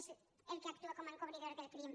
és el que actua com a encobridor del crim